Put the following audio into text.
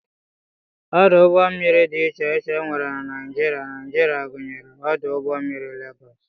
Ọdụ ụgbọmmiri dị iche iche e nwere na Naijiria Naijiria gụnyere ọdụ ụgbọmmiri Legọs